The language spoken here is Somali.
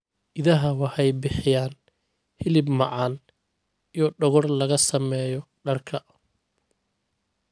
Idaha waxay bixiyaan hilib macaan iyo dhogor laga sameeyo dharka.